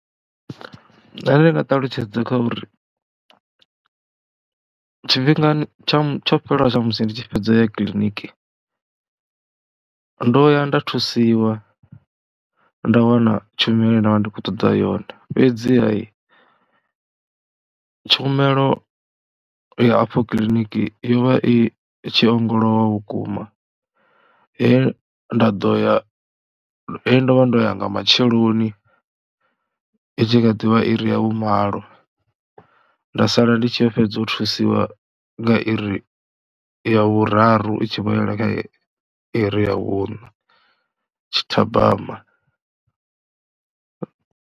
Nṋe ndi nga ṱalutshedza kha uri tshifhingani tsha tsho fhela tsha musi ndi tshi fhedza ya kiḽiniki, ndo ya nda thusiwa nda wana tshumelo nda vha ndi khou ṱoḓa yone, fhedziha tshumelo ya afho kiḽiniki yo vha i tshi ongolowa vhukuma he nda ḓo ya, he ndo vha ndo ya nga matsheloni i tshi kha ḓi vha iri ya vhumalo nda sala ndi tshi fhedza u thusiwa nga iri ya vhuraru i tshi vho yela kha iri ya vhuṋa tshithabama.